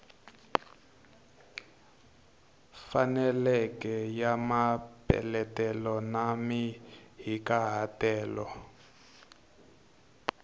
faneleke ya mapeletelo na mahikahatelo